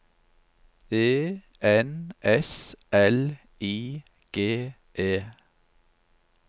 E N S L I G E